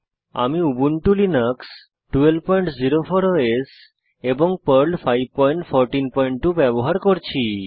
আমি Ubuntu Linux 1204 OS এবং Perl 5142 ব্যবহার করছি